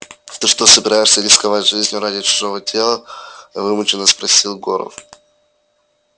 ты что собираешься рисковать жизнью ради чужого тела вымученно спросил горов